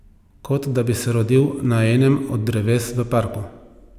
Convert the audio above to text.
Kot da bi se rodil na enem od dreves v parku.